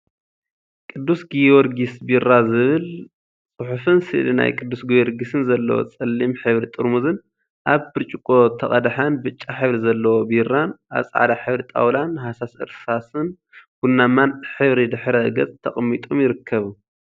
ቅዱሰ ጊዮርጊስ ቢራ ዝብል ፅሑፍን ስእሊ ናይ ቅዱስ ጊዮርጊስን ዘለዎ ፀሊም ሕብሪ ጥርሙዝን አብ ብጭርቆ ተቀደሐን ብጫ ሕብሪ ዘለዎ ቢራን አብ ፃዕዳ ሕብሪ ጣውላን ሃሳስ እርሳስን ቡናማን ሕብሪ ድሕረ ገፅ ተቀሚጦም ይርከቡ፡፡